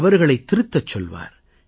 தவறுகளை திருத்தச் சொல்லுவார்